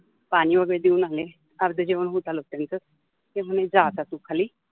पाणि वगेरे देऊन आले, अर्ध जेवन होत आल त्यांच, ते मने जा आता तु खालि